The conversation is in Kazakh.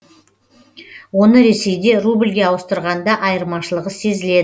оны ресейде рубльге ауыстырғанда айырмашылығы сезіледі